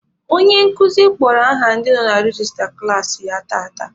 Onye nkuzi kpọrọ aha ndị nọ na rejista klaasị ya tata.